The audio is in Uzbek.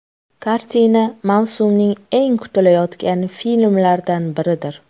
Kartina mavsumning eng kutilayotgan filmlaridan biridir.